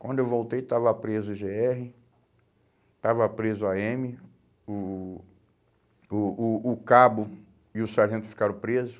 Quando eu voltei, estava preso o gê erre, estava preso o á eme, o o o o o cabo e o sargento ficaram preso.